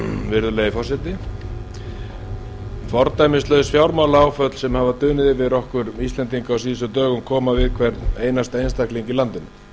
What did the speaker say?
virðulegi forseti fordæmislaus fjármálaáföll sem hefur dunið yfir okkur íslendinga á síðustu dögum koma við hvern einasta einstakling í landinu